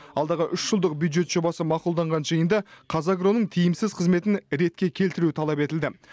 алдағы үш жылдық бюджет жобасы мақұлданған жиында қазагроның тиімсіз қызметін ретке келтіру талап етілді